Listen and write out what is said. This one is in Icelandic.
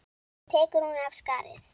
Svo tekur hún af skarið.